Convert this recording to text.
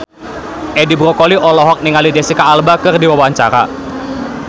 Edi Brokoli olohok ningali Jesicca Alba keur diwawancara